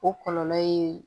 O kɔlɔlɔ ye